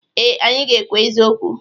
Ee, anyị ga-ekwu eziokwu.